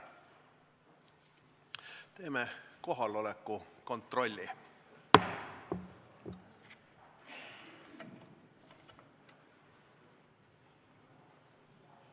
Teeme kohaloleku kontrolli.